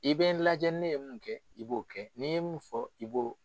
I bɛ n lajɛ ne ye mun kɛ i b'o kɛ n'i ye mun fɔ i b'o